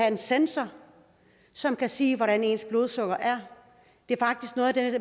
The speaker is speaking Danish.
en sensor som kan sige hvordan ens blodsukker er